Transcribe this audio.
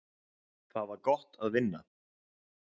Það var gott að vinna.